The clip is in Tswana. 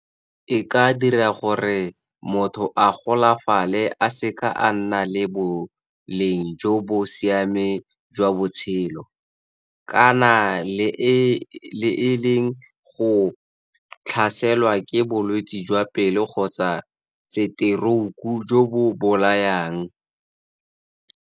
E ka dira gore motho a golafale a seka a nna le boleng jo bo siameng jwa botshelo, kana e leng go tlhaselwa ke bolwetse jwa pelo kgotsa setorouku jo bo bolayang.